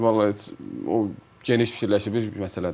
Vallah heç o geniş fikirləşib bir məsələdir.